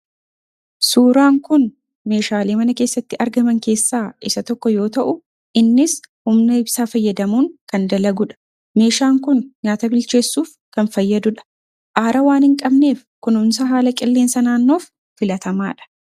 Suuraan kun meeshaalee mana keessatti argaman keessaa isa tokko yoo ta'u, innis humna ibsaa fayyadamuun kan dalagu dha. Meeshaan kun nyaata bilcheessuuf kan fayyadu dha. Aara waan hin qabneef, kunuuunsa haala qilleensa naannoof filataamaa dha.